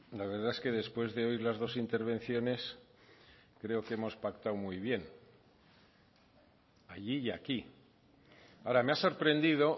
la verdad es que después de oír las dos intervenciones creo que hemos pactado muy bien allí y aquí ahora me ha sorprendido